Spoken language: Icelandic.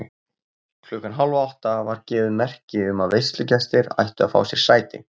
Klukkan hálfátta var gefið merki um að veislugestir ættu að fá sér sæti.